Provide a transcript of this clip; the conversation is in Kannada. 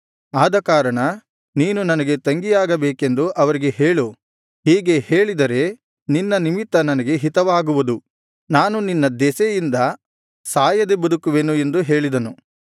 ಆದಕಾರಣ ನೀನು ನನಗೆ ತಂಗಿಯಾಗಬೇಕೆಂದು ಅವರಿಗೆ ಹೇಳು ಹೀಗೆ ಹೇಳಿದರೆ ನಿನ್ನ ನಿಮಿತ್ತ ನನಗೆ ಹಿತವಾಗುವುದು ನಾನು ನಿನ್ನ ದೆಸೆಯಿಂದ ಸಾಯದೆ ಬದುಕುವೆನು ಎಂದು ಹೇಳಿದನು